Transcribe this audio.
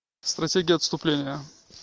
стратегия отступления